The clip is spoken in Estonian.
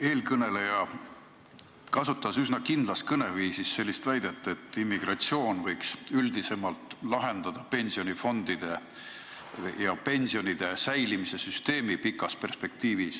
Eelkõneleja kasutas üsna kindlas kõneviisis väidet, et pikas perspektiivis võiks immigratsioon üldiselt lahendada pensionifondide ja pensionide säilimise süsteemiga seotud probleemi.